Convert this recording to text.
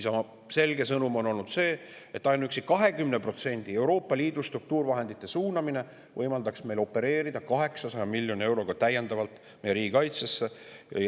Isamaa selge sõnum on olnud see, et ainuüksi 20% Euroopa Liidu struktuurivahendite suunamine riigikaitsesse võimaldaks meil opereerida täiendava 800 miljoni euroga.